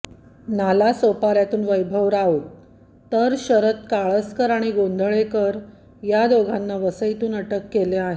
नालासोपाऱ्यातून वैभव राऊत तर शरद काळसकर आणि गोंधळेकर या दोघांना वसईतून अटक केले आहे